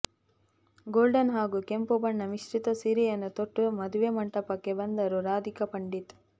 golden ಹಾಗೂ ಕೆಂಪು ಬಣ್ಣ ಮಿಶ್ರಿತ ಸೀರೆಯನ್ನು ತೊಟ್ಟು ಮದುವೆ ಮಂಟಪಕ್ಕೆ ಬಂದರು ರಾಧಿಕಾ ಪಂಡಿತ್